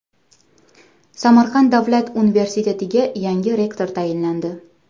Samarqand davlat universitetiga yangi rektor tayinlandi.